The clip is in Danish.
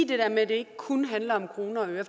det der med at det ikke kun handler om kroner og øre